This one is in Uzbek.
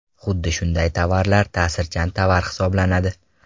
Xuddi shunday tovarlar ta’sirchan tovar hisoblanadi.